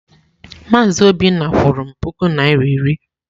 Maazị Obinna kwụrụ m puku naịra iri.